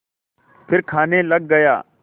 फिर खाने लग गया